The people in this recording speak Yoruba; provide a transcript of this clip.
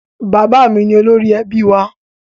Bàbá mi ni olórí ẹbí wa.